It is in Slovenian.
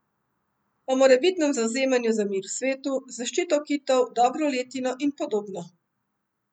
O morebitnem zavzemanju za mir v svetu, zaščito kitov, dobro letino in podobno.